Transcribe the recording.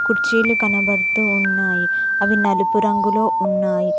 కుర్చీలు కనబడుతూ ఉన్నాయి అవి నలుపు రంగులో ఉన్నాయి.